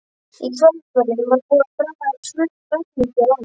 Í Hvalfirði var búið að draga tvö ferlíki á land.